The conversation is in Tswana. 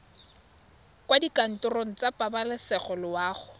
kwa dikantorong tsa pabalesego loago